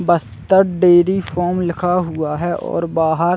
बस्तक dairy farm लिखा हुआ है और बाहर --